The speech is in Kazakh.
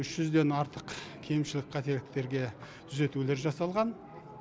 үш жүзден артық кемшілік қателіктерге түзетулер жасалған